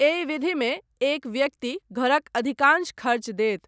एहि विधिमे एक व्यक्ति घरक अधिकांश खर्च देत।